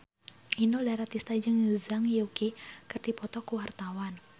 Inul Daratista jeung Zhang Yuqi keur dipoto ku wartawan